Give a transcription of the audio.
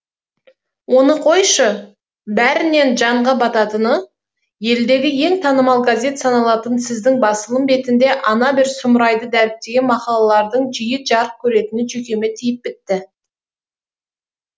оны қойшы бәрінен жанға бататыны елдегі ең танымал газет саналатын сіздің басылым бетінде ана бір сұмырайды дәріптеген мақалалардың жиі жарық көретіні жүйкеме тиіп бітті